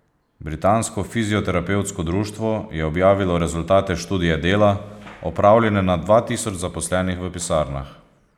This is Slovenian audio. Britansko fizioterapevtsko društvo je objavilo rezultate študije dela, opravljene na dva tisoč zaposlenih v pisarnah.